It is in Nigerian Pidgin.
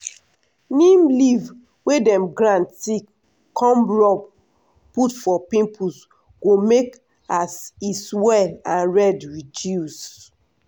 neem leaf wey dem grind thick come rub put for pimples go make as e swell and red reduce.